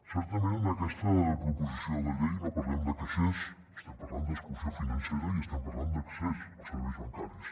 certament en aquesta proposició de llei no parlem de caixers estem parlant d’exclusió financera i estem parlant d’accés als serveis bancaris